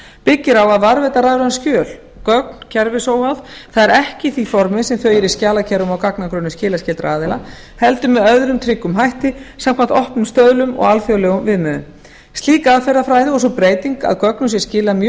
byggir á að varðveita rafræn skjöl gögn kerfisóháð það er ekki í því formi sem þau eru í skjalakerfum og gagnagrunnum skilaskyldra aðila heldur með öðrum tryggum hætti samkvæmt opnum stöðlum og alþjóðlegum viðmiðunum slík aðferðafræði og sú breyting að gögnum sé skilað mjög